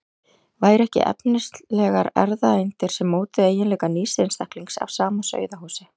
Væru ekki efnislegar erfðaeindir sem mótuðu eiginleika nýs einstaklings af sama sauðahúsi?